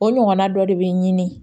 O ɲɔgɔnna dɔ de bɛ n ɲini